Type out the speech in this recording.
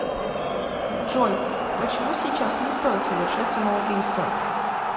джой почему сейчас не стоит совершать самоубийство